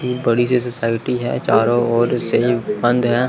यह बड़ीसी सोसायटी है। चारों ओर से यह बंद है।